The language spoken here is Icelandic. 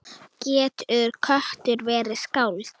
Getur köttur verið skáld?